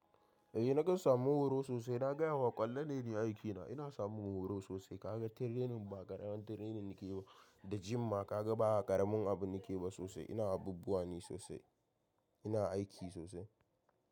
Eh na kan samu horo sosai, na gaya ma ƙwallon ne ni aikina, ina samun horo sosai ka ga training ma, ba ƙaramar training nake ba, da gym ma, kaga ba ƙaramin abu nake ba sosai, ina abubuwa ne sosai ina aiki sosai.